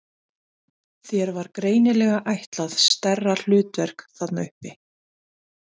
Þér var greinilega ætlað stærra hlutverk þarna uppi!